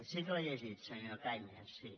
sí que l’he llegit senyor cañas sí